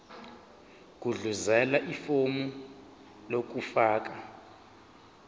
gudluzela ifomu lokufaka